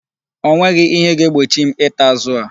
O nweghị ihe ga-egbochi m ịta azụ a.